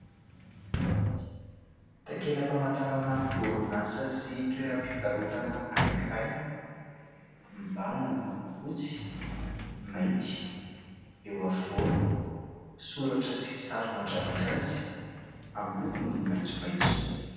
Takela-pamantarana orinasa sy toeram-pivarotana anankiray. Mibahana ny loko fotsy, mainty ; eo afovoany, soratra sy sary mandravaka azy amin'ny lokony maitsomaitso.